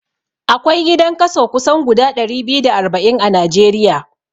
Akwai gidan kaso kusan guda ɗari biyu da arba'in a Najeriya